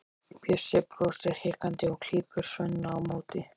Bjössi brosir hikandi og klípur Svenna á móti.